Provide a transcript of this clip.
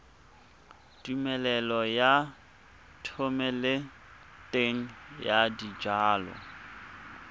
tumelelo ya thomeloteng ya dijalo